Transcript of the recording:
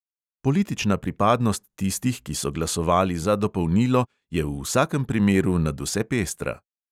Politična pripadnost tistih, ki so glasovali za dopolnilo, je v vsakem primeru nadvse pestra.